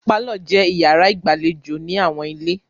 Pálọ̀ jẹ́ ìyàrá ìgbàlè ò ní àwọn ilé.